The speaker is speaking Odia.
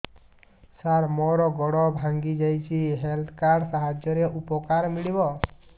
ସାର ମୋର ଗୋଡ଼ ଭାଙ୍ଗି ଯାଇଛି ହେଲ୍ଥ କାର୍ଡ ସାହାଯ୍ୟରେ ଉପକାର ମିଳିବ